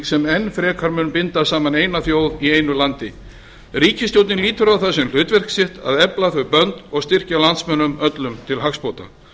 sem enn frekar mun binda saman eina þjóð í einu landi ríkisstjórnin lítur á það sem hlutverk sitt að efla þau bönd og styrkja landsmönnum öllum til hagsbóta